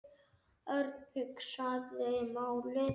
Örn hugsaði málið.